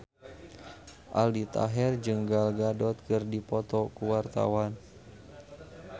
Aldi Taher jeung Gal Gadot keur dipoto ku wartawan